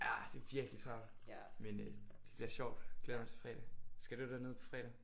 Ja det er virkelig travlt. Men øh det bliver sjovt. Glæder mig til fredag. Skal du derned på fredag?